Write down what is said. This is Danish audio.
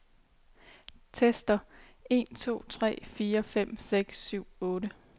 Tester en to tre fire fem seks syv otte.